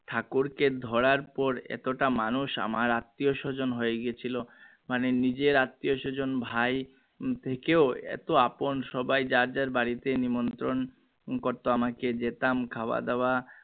ঠাকুরকে ধরার পর এতো টা মানুষ আমার আত্মীয় স্বজন হয়েগেছিলো মানে নিজের আত্নীয় স্বজন ভাই থেকেও এতো আপন সব যার যার বাড়িতে নিমন্ত্রণ করতো আমাকে যেতাম খাওয়া দাওয়া